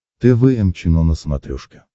тэ вэ эм чено на смотрешке